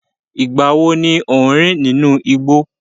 Ìgbà wo ni o n rin nínú igbó?